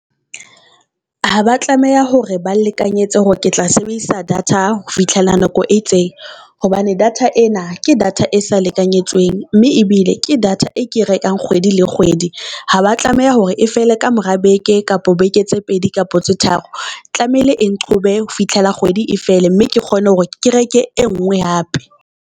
Ha ba tlameha hore ba nlekanyetse hore ke tla sebedisa data ho fihlela nako e itseng hobane data ena ke data e sa lekanyetsweng, mme ebile ke data e ke rekang kgwedi le kgwedi. Ha ba tlameha hore e fele ka mora beke, kapo beke tse pedi kapa tse tharo. Tlamehile e nqhobe ho fihlela kgwedi e fele, mme ke kgone hore ke reke e nngwe hape.